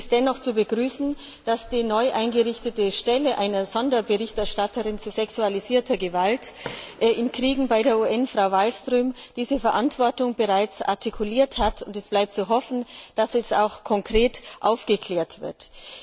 Es ist dennoch zu begrüßen, dass die neu eingerichtete Stelle einer Sonderberichterstatterin zu sexualisierter Gewalt in Kriegen bei der UN, die Frau Wallström bekleidet, diese Verantwortung bereits artikuliert hat, und es bleibt zu hoffen, dass die Verbrechen konkret aufgeklärt werden.